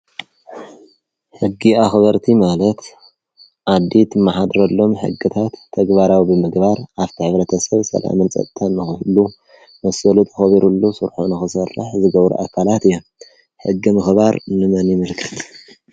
ሕጊ ኣኽበርቲ ማለት ዓዲ ትመሓደረሎም ሕግታት ተግባራዊ ንምግባር ኣብቲ ንሕብረተሰብ ሰላምን ፀጥታን ንክህሉ መሰሉ ተከቢርሉ ስርሑ ንኽሰርሕ ዝገብሩ ኣካላት እዮም ሕጊ ንምኽባር ንመን ይምልከት ።